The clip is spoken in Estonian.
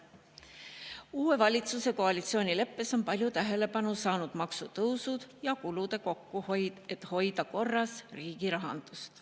Uue valitsuse koalitsioonileppes on palju tähelepanu saanud maksutõusud ja kulude kokkuhoid, et riigi rahandus korras hoida.